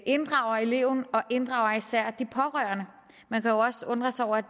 inddrager eleven og især inddrager de pårørende man kan jo også undre sig over at